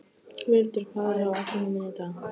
Völundur, hvað er á áætluninni minni í dag?